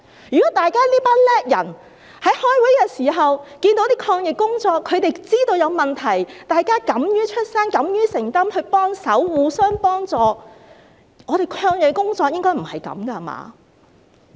如果這群能幹的人在開會時，察覺到抗疫工作有問題，大家敢於發聲及敢於承擔，互相幫助，我們的抗疫工作應該不是這樣的。